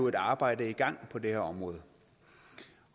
et arbejde i gang på det her område